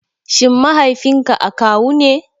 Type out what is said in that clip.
Shin Mahaifinka akawu ne?